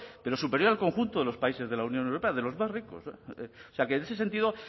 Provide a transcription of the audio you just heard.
pero superior al conjunto de los países de la unión europea de los más ricos o sea que en ese sentido